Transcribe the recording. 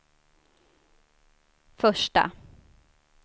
första